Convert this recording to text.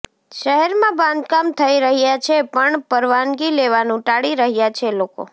શહેરમા બાંધકામ થઈ રહ્યા છે પણ પરવાનગી લેવાનુ ટાળી રહ્યા છે લોકો